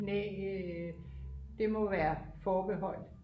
knæ det må være forbeholdt